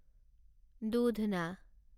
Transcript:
দুধনা